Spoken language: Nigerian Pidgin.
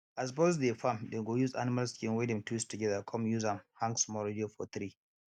as boys dey farm dem go use animal skin wey dem twist together come use am hang small radio for tree